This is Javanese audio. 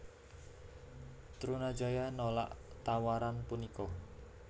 Trunajaya nolak tawaran punika